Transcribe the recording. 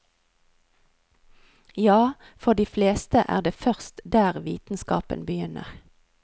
Ja, for de fleste er det først der vitenskapen begynner.